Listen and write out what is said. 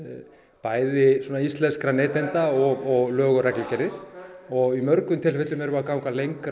bæði íslenskra neytenda og lög og reglugerðir og í mörgum tilfellum erum við að ganga lengra